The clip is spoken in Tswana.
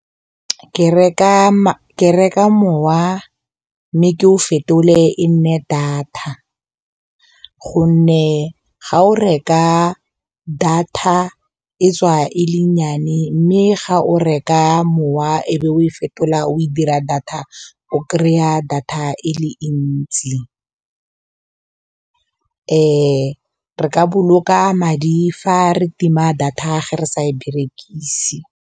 Ke reka mowa mme ke o fetole e nne data gonne ga o reka data e tswa e le nnyane mme ga o ka mowa e be o e fetola o e dira data o kry-a data e le ntsi re ka boloka madi fa re tima data ge re sa e berekise.